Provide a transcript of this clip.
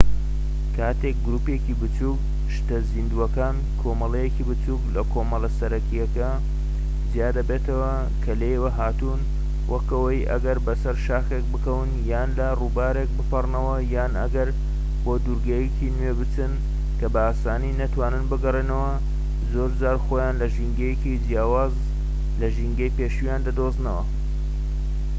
کاتێک گروپێکی بچووكی شتە زیندووەکان کۆمەڵەیەکی بچووك لە کۆمەڵە سەرەكیەکە جیا دەبێتە کە لێیەوە هاتوون وەک ئەوەی ئەگەر بە سەر شاخێک بکەون یان لە ڕووبارێک بپەڕنەوە، یان ئەگەر بۆ دوورگەیەکی نوێ بچن کە بە ئاسانی نەتوانن بگەڕێنەوە زۆرجار خۆیان لە ژینگەیەکی جیاواز لە ژینگەی پێشوویان دەدۆزنەوە